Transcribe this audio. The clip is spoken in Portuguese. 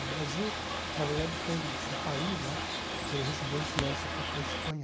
O Brasil, na verdade, foi um um país né que recebeu influência da da Espanha.